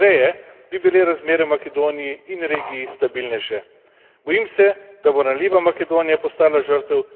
Bojim se, da bo ranljiva Makedonija postala žrtev različnih interesov, če ji ne bomo pravočasno pomagali.